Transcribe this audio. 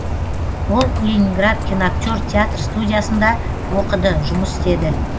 ол ленинград киноактер театр студиясында оқыды жұмыс істеді